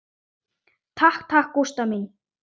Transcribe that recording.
Takk takk, Gústa mín.